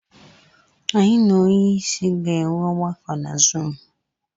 Anyị na onye isi ga-enwe ọgbakọ na Zuumu.